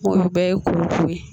O bɛ ye ye